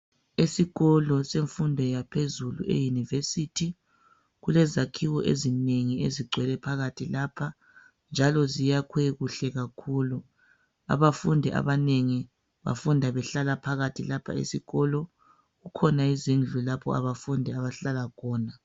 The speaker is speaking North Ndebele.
Isikolo semfundo yaphezulu eYunivesithi kulezakhiwo ezinengi ezigwele phakathi lapha njalo ziyakhwe kuhle kakhulu. Abafundi abanengi bafunda behlala phakathi lapha esikolo, kukhona izindlu lapha abafundi abahlala khona.